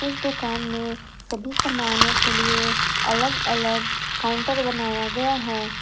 इस दुकान में सभी समानो के लिए अलग अलग काउंटर बनाया गया है।